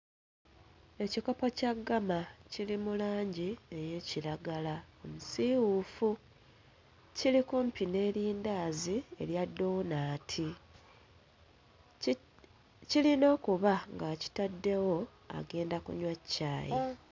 Ekikopo kya ggama kiri mu langi ey'ekiragala omusiiwuufu. Kiri kumpi n'erindaazi erya ddoonaati. Ki... kirina okuba ng'akitaddewo agenda kunywa caayi.